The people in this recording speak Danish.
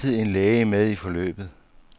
Der er altid er en læge med i forløbet.